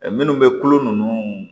Ɛɛ minnu bɛ kolo ninnu